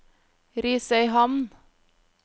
Risøyhamn